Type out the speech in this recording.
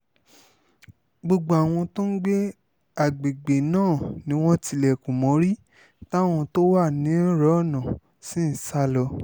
gbogbo àwọn tó ń gbé àgbègbè náà ni wọ́n tilẹ̀kùn mórí táwọn tó wà nírọ́nà sì ń sá lọ